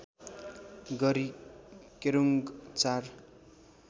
गरी केरुङ्ग ४